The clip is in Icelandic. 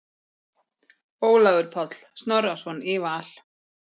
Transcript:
Ólafur Páll Snorrason í Val